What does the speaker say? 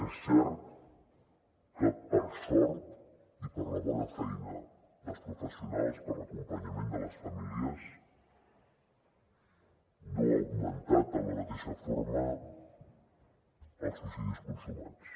és cert que per sort i per la bona feina dels professionals per l’acompanyament de les famílies no han augmentat en la mateixa forma els suïcidis consumats